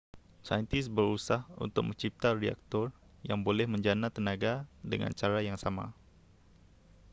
saintis berusah untuk mencipta reaktor yang boleh menjana tenaga dengan cara yang sama